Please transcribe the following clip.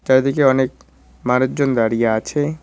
চারিদিকে অনেক মানুজন দাঁড়িয়ে আছে।